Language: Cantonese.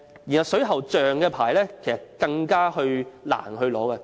原來水喉匠的牌照是更難考取。